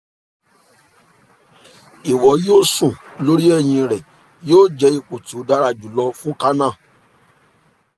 iwọ yoo sùn lori ẹhin rẹ yoo jẹ ipo ti o dara julọ fun kanna